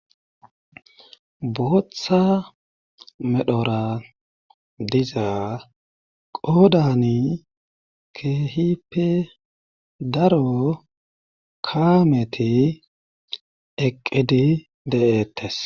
Botha medhora diza qodani kehipi daro kaameti eqqidi de7ettes